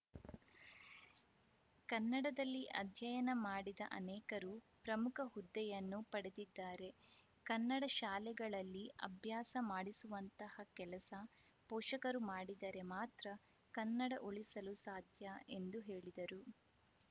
ಕನ್ನಡದಲ್ಲಿ ಅಧ್ಯಯನ ಮಾಡಿದ ಅನೇಕರು ಪ್ರಮುಖ ಹುದ್ದೆಯನ್ನು ಪಡೆದಿದ್ದಾರೆ ಕನ್ನಡ ಶಾಲೆಗಳಲ್ಲಿ ಅಭ್ಯಾಸ ಮಾಡಿಸುವಂತಹ ಕೆಲಸ ಪೋಷಕರು ಮಾಡಿದರೆ ಮಾತ್ರ ಕನ್ನಡ ಉಳಿಸಲು ಸಾಧ್ಯ ಎಂದು ಹೇಳಿದರು